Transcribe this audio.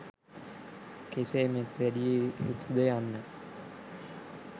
කෙසේ මෙත් වැඩිය යුතුද යන්න